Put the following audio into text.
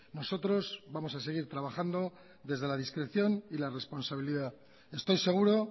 nosotros vamos a seguir trabajando desde la discreción y la responsabilidad estoy seguro